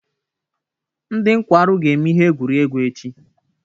Ndị nkwarụ ga-eme ihe egwuregwu echi.